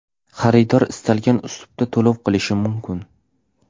Xaridor istalgan uslubda to‘lov qilishi mumkin.